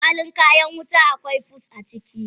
Kwalin kayan wuta a kwai fus a ciki.